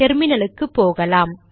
டெர்மினலுக்கு போகலாம்